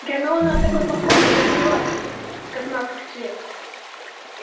гермиона от такой похвалы зарделась как маков цвет